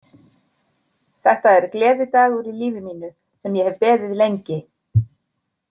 Þetta er gleðidagur í lífi mínu, sem ég hef beðið lengi.